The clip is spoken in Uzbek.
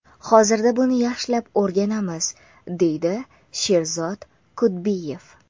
Hozirda buni yaxshilab o‘rganamiz”, deydi Sherzod Kudbiyev.